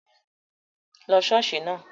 Lọ ṣọ́ọ̀ṣì náà!